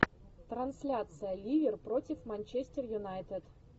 трансляция ливер против манчестер юнайтед